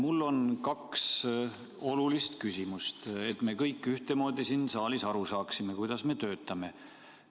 Mul on kaks olulist küsimust, et me kõik ühtemoodi siin saalis aru saaksime, kuidas me töötame.